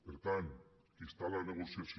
per tant qui està a la negociació